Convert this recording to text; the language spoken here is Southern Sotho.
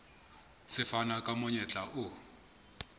se fana ka monyetla o